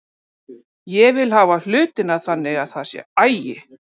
Ég vil hafa hlutina þannig að það sé agi.